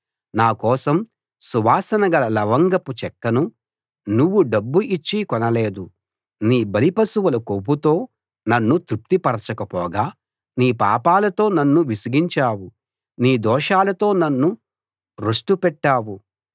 నా కోసం సువాసన గల లవంగపు చెక్కను నువ్వు డబ్బు ఇచ్చి కొనలేదు నీ బలి పశువుల కొవ్వుతో నన్ను తృప్తిపరచకపోగా నీ పాపాలతో నన్ను విసిగించావు నీ దోషాలతో నన్ను రొష్టుపెట్టావు